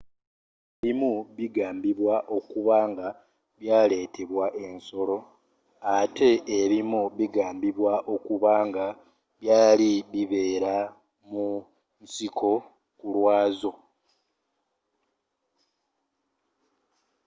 ebimu bigambibwa okuba nga byaletebwa ensolo ate ebimu bigambibwa okuba nga byali bibera mu nsiko kulwazo